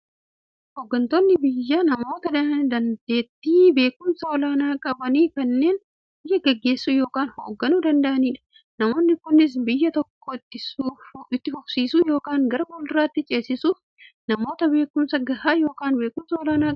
Hooggantoonni biyyaa namoota daanteettiifi beekumsa olaanaa qaban, kanneen biyya gaggeessuu yookiin hoogganuu danda'aniidha. Namoonni kunis, biyya tokko itti fufsiisuuf yookiin gara fuulduraatti ceesisuuf, namoota beekumsa gahaa yookiin beekumsa olaanaa qabaniidha.